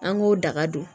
An k'o daga don